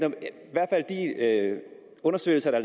undersøgelser der